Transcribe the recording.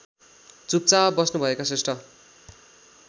चुपचाप बस्नुभएका श्रेष्ठ